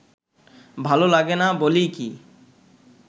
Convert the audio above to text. ভালো লাগে না বলেই কি